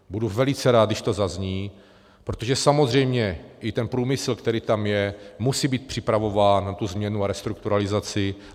Budu velice rád, když to zazní, protože samozřejmě i ten průmysl, který tam je, musí být připravován na tu změnu a restrukturalizaci.